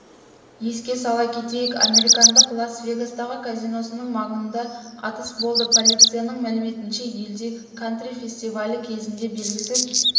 еске сала кетейік американдық лас-вегастағы казиносының маңында атыс болды полицияның мәліметінше елдегі кантри фестивалі кезінде белгісіз